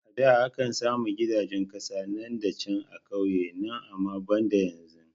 A da akan sami gidajen kasa nan da can a kauye na amma banda yanzu